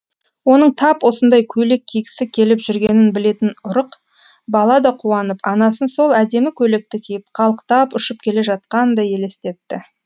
оның тап осындай көйлек кигісі келіп жүргенін білетін ұрық бала да қуанып анасын сол әдемі көйлекті киіп қалықтап ұшып келе жатқандай елестетті